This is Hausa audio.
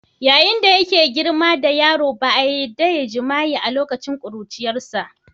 yayin da yake girma da yaro ba a yarda ya yi jima'i a lokacin ƙuruciyarsa.